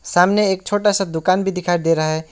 सामने एक छोटा सा दुकान भी दिखाई दे रहा है।